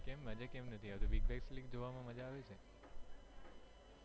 કેમ મજા કેમ નથી આવતી big bash league જોવા માં મજા આવે છે.